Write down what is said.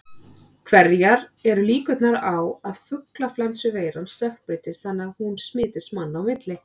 Hverjar eru líkurnar á að fuglaflensuveiran stökkbreytist þannig að hún smitist manna á milli?